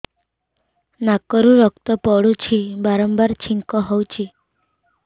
ନାକରୁ ରକ୍ତ ପଡୁଛି ବାରମ୍ବାର ଛିଙ୍କ ହଉଚି